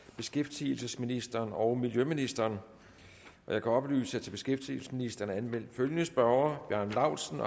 beskæftigelsesministeren og miljøministeren jeg kan oplyse at der til beskæftigelsesministeren er anmeldt følgende spørgere bjarne laustsen